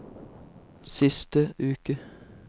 siste uke